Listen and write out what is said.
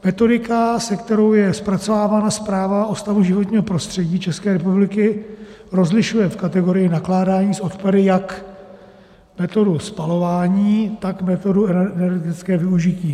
Metodika, se kterou je zpracovávána zpráva o stavu životního prostředí České republiky, rozlišuje v kategorii nakládání s odpady jak metodu spalování, tak metodu energetického využití.